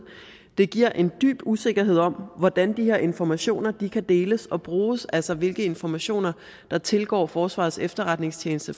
det giver en dyb usikkerhed om hvordan de her informationer kan deles og bruges altså hvilke informationer der tilgår forsvarets efterretningstjeneste